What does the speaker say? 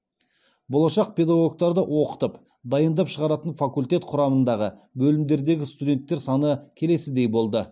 болашақ педагогтарды оқытып дайындап шығаратын факультет құрамындағы бөлімдердегі студенттер саны келесідей болды